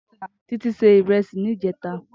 Titi sé irèsí nijètá